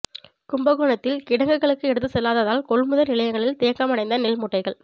கும்பகோணத்தில் கிடங்குகளுக்கு எடுத்து செல்லாததால் கொள்முதல் நிலையங்களில் தேக்கமடைந்த நெல் மூட்டைகள்